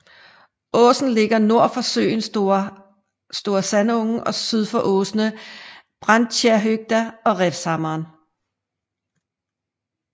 Åsen ligger nord for søen Store Sandungen og syd for åsene Branntjernhøgda og Revshammeren